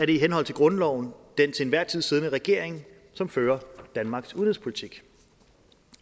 det i henhold til grundloven den til enhver tid siddende regering som fører danmarks udenrigspolitik